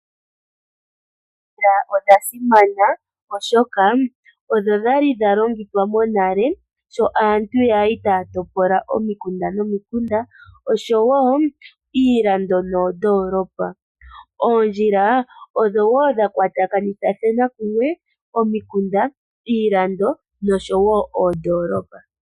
Oondjila odha simana, oshoka odho dha li dha longithwa monale sho aantu ya li taya topola omikunda nomikunda, oshowo iilando noondoolopa. Oondjila odho wo dha kwatakanitha kumwe omikunda, iilando nosho wo oondoolopa.